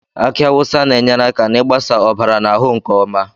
Aki awusa na-enyere aka n'ịgbasa ọbara n'ahụ nke mma.